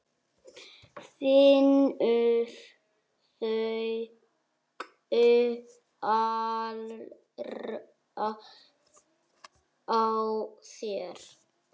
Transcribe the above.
Finnur augu allra á sér.